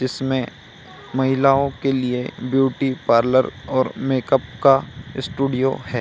जिसमें महिलाओं के लिए ब्यूटी पार्लर और मेकअप का स्टूडियो है।